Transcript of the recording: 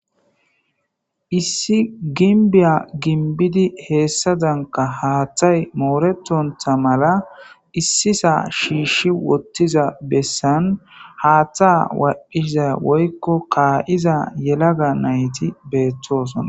issi ginbiya ginbidi heessadanka haaththay mooretontha mala issisa shiishi wottiza bessan haaththa walphiza woykko kaa7iza yelaga nayti beettosona